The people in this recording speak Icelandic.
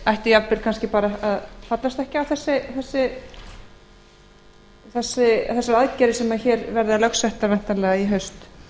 ætti jafnvel kannski bara að fallast ekki á þessar aðgerðir sem hér verða lögsettar væntanlega í haust